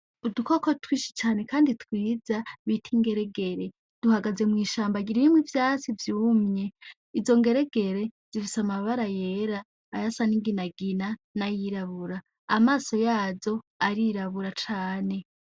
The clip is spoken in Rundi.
Udukoko twinshi cane knd twiza bita ingeregere, duhagaze mwishamba ririmwo ivyatsi vyumye, izo ngeregere zifise amabara yera, ayasa ninginagina, na yirabura, amaso yazo arirabura cane.